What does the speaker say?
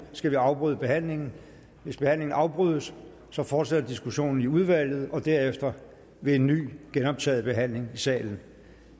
skal afbryde behandlingen hvis behandlingen afbrydes fortsætter diskussionen i udvalget og derefter ved en ny genoptaget behandling i salen